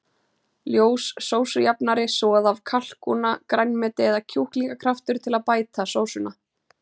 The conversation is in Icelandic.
Ljós sósujafnari, soð af kalkúna, grænmeti eða kjúklingakraftur til að bæta sósuna.